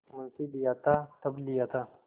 मुंशीलिया था तब लिया था